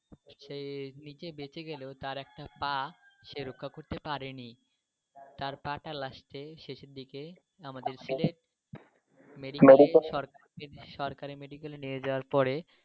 সে নিজে বেঁচে গেলেও তার একটা পা সে রক্ষা করতে পারেনি। তার পাটা last এ শেষের দিকে আমাদের কে মেডিকেল সরকার কে সরকারি মেডিকেলে নিয়ে যাওয়ার পরে.